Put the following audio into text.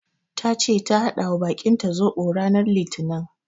Tace ta haɗawa bakinta zoɓo ranar litinin.